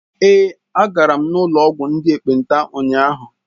Èé, agara m n'ụlọ ọgwụ ndị ekpenta ụnyahụ.